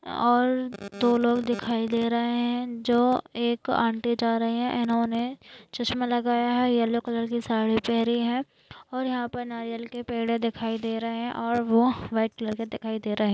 और दो लोग दिखाई दे रहे है जो एक आंटी जा रही है इन्होने चश्मा लगाया है येल्लो कलर की साड़ी पहनी है और यहा पर नारियल के पेड़ दिखाई दे रहे है और वह व्हाइट कलर के दिखाई दे रहे।